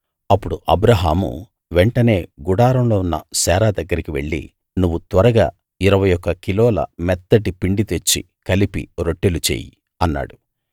అప్పుడు అబ్రాహాము వెంటనే గుడారంలో ఉన్న శారా దగ్గరికి వెళ్ళి నువ్వు త్వరగా 21 కిలోల మెత్తటి పిండి తెచ్చి కలిపి రొట్టెలు చెయ్యి అన్నాడు